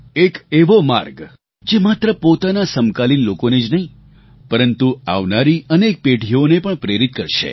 એક એવો માર્ગ જે માત્ર પોતાના સમકાલીન લોકોને જ નહીં પરંતુ આવનારી અનેક પેઢીઓને પણ પ્રેરિત કરશે